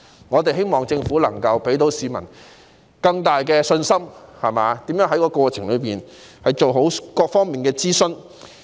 我們希望政府能夠給予市民更大信心，並解釋如何在過程中做好各方面的諮詢。